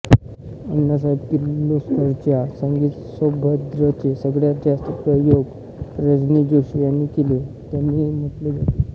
अण्णासाहेब किर्लोस्करांच्या संगीत सौभद्रचे सगळ्यात जास्त प्रयोग रजनी जोशी यांनी केले असे त्यांनी म्हटले आहे